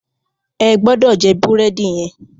Ẹ gbọ́dọ̀ jẹ búrẹ́dì yẹn!